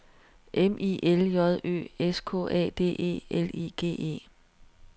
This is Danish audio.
M I L J Ø S K A D E L I G E